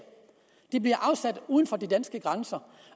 de bliver afsat uden for de danske grænser